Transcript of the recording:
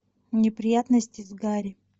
неприятности с гарри